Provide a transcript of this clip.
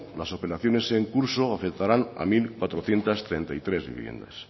las operaciones en curso afectarán a mil cuatrocientos treinta y tres viviendas